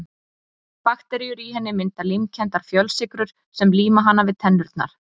Bakteríurnar í henni mynda límkenndar fjölsykrur sem líma hana við tennurnar.